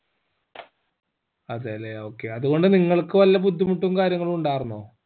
അതെലെ okay അത്കൊണ്ട് നിങ്ങൾക്ക് വല്ല ബുദ്ധിമുട്ടും കാര്യങ്ങളും ഉണ്ടാർന്നോ